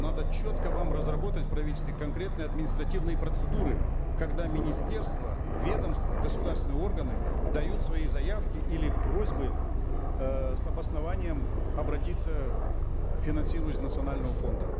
надо четко вам разработать в правительстве конкретные административные процедуры когда министерства ведомства государственные органы дают свои заявки или просьбы э с обоснованием обратиться к финансированию из национального фонда